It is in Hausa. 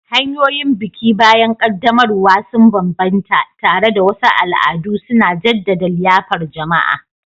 Hanyoyin biki bayan ƙaddamarwa sun bambanta, tare da wasu al'adu suna jaddada liyafar jama'a.